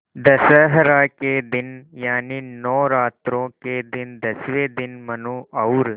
दशहरा के दिन यानि नौरात्रों के दसवें दिन मनु और